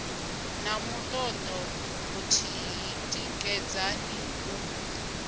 na mutodo muthihi tikedzani u